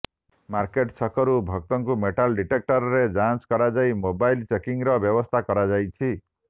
market ଛକରୁ ଭକ୍ତଙ୍କୁ metal ଡିଟେକ୍ଟରରେ ଯାଞ୍ଚ କରାଯାଇ ମୋବାଇଲ ଚେକିଂର ବ୍ୟବସ୍ଥା କରାଯାଇଛି